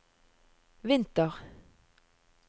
vinter